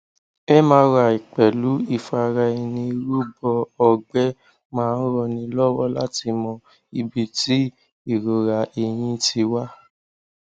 mri pẹlú ìfaraẹnirúbọ ọgbẹ máa ń ranni lọwọ láti mọ ibi tí ìrora ẹyìn ti wá